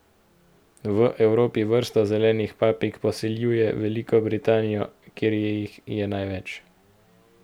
V Evropi vrsta zelenih papig poseljuje Veliko Britanijo, kjer jih je največ.